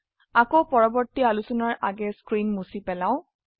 আকৌ পৰবৰ্তী আলোচনাৰ আগে স্ক্ৰীন মুছি পেলাও